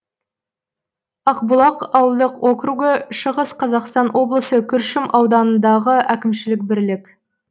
ақбұлақ ауылдық округі шығыс қазақстан облысы күршім ауданындағы әкімшілік бірлік